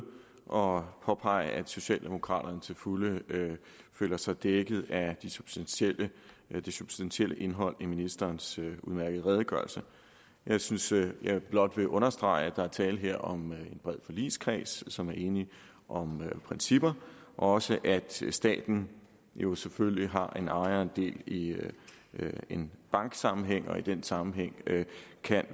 og påpege at socialdemokraterne til fulde føler sig dækket af det substantielle det substantielle indhold af ministerens udmærkede redegørelse jeg synes jeg blot vil understrege at der her er tale om en bred forligskreds som er enige om principper og også at staten jo selvfølgelig har lod og del i en banksammenhæng og i den sammenhæng kan